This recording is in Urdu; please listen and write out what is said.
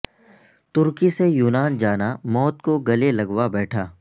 ترکی سے یونان جانا موت کو گلے لگوا بیٹھا